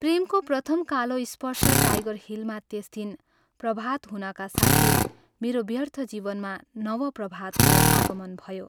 प्रेमको प्रथम कालो स्पर्श टाइगर हिलमा त्यस दिन प्रभात हुनका साथै मेरो व्यर्थ जीवनमा नव प्रभातको आगमन भयो।